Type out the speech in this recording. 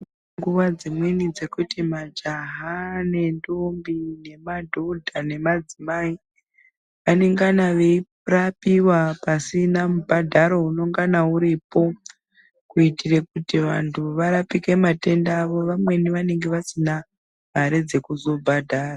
Nguwa dzimweni dzekuti majaha nentombi nemadhodha nemadzimai anengana veirapiwa pasina mubhadharo unongana uripo kuitira kuti vantu varapike matenda avo vamweni vanenge vasina mare dzekuzobhadhara.